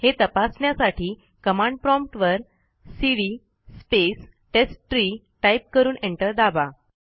हे तपासण्यासाठी command prompt वर सीडी स्पेस टेस्टट्री टाईप करून एंटर दाबा